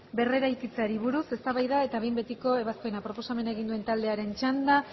berrirekitzeari buruz eztabaida eta behin betiko ebazpena proposamena egin duen taldearen txanda